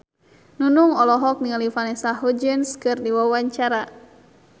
Nunung olohok ningali Vanessa Hudgens keur diwawancara